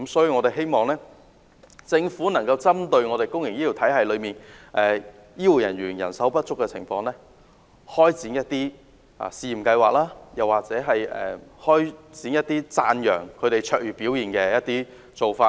我們希望政府能夠針對公營醫療體系裏，醫護人員人手不足的情況，開展一些試驗計劃，或者推行一些讚揚他們卓越表現的活動。